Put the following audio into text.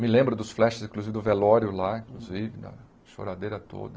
Me lembro dos flashes, inclusive do velório lá, inclusive, da choradeira toda.